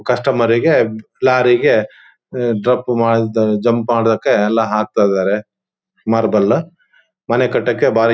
ಕಸ್ಟಮರ್ರಿಗೆ ಲೋರಿರಿಗೆ ಅಹ್ ಜಂಪ್ ಮಾಡಕ್ಕೆ ಎಲ್ಲಾ ಹಾಕ್ಕತ್ತಿದ್ದರೆ ಮಾರ್ಬಲ್ ಮನೆ ಕಟ್ಟಕ್ಕೆ ಭಾರಿ--